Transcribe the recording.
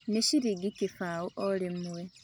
Nĩ ciringi kĩbaũ orimwe